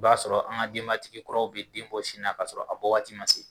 I b'a sɔrɔ an ka denbatigi kuraw bi den bɔ sin na, k'a sɔrɔ a bɔ waati ma se